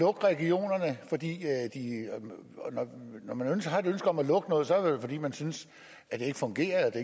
regionerne og når man har et ønske om at lukke noget så er det vel fordi man synes det ikke fungerer at